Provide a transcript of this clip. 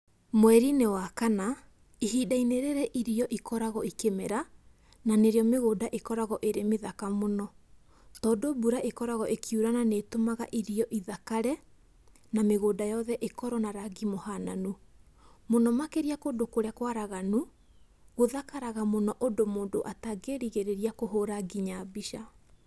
Mweri-inĩ wa kana, ihinda-inĩ rĩrĩ irio ikoragwo ikĩmera, na nĩ rĩo mĩgũnda ĩkoragwo ĩrĩ mĩthaka mũno, tondũ mbura ĩkoragwo ĩkiura na nĩ ĩtũmaga irio ithakare na mĩgũnda yothe ĩkorwo na rangi mũhananu. Mũno makĩria kũndũ kũrĩa kũaraganu, gũthakaraga mũno ũndũ mũndu atangĩĩrigĩrĩria kũhũra nginya mbica.